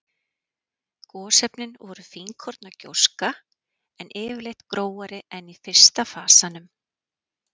Gosefnin voru fínkorna gjóska, en yfirleitt grófari en í fyrsta fasanum.